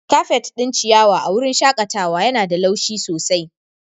Kafet ɗin ciyawa a wurin shakatawa yana da laushi sosai.